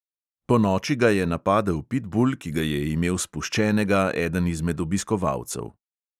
Ponoči ga je napadel pitbul, ki ga je imel spuščenega eden izmed obiskovalcev.